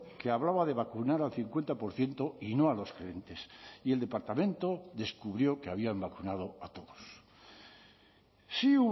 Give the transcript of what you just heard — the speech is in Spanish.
que hablaba de vacunar al cincuenta por ciento y no a los gerentes y el departamento descubrió que habían vacunado a todos sí